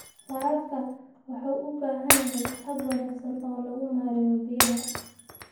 Waraabka waxa uu u baahan yahay hab wanaagsan oo lagu maareeyo biyaha.